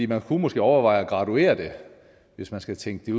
man kunne måske overveje at graduere det hvis man skal tænke det